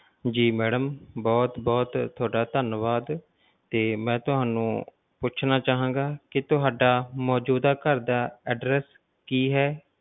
ਜੀ madam ਬਹੁਤ ਬਹੁਤ ਤੁਹਾਡਾ ਧੰਨਵਾਦ ਤੇ ਮੈਂ ਤੁਹਾਨੂੰ ਪੁੱਛਣਾ ਚਾਂਹਾਗਾ ਕਿ ਤੁਹਾਡਾ ਮੌਜੂਦਾ ਘਰ ਦਾ address ਕੀ ਹੈ?